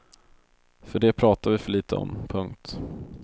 För det pratar vi för litet om. punkt